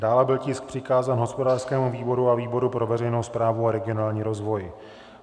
Dále byl tisk přikázán hospodářskému výboru a výboru pro veřejnou správu a regionální rozvoj.